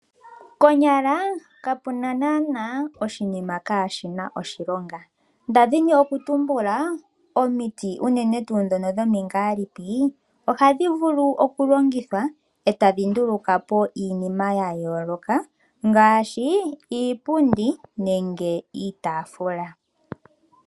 Konyala ka puna naana oshinima ka shina oshilongo , nda dhini okutumbula omiti uunene tuu dhono dhomingalipi , ohadhi vulu okulongithwa etadhi ndulukapo iinima yayoloka ngaashi iipundi nenge iitafula.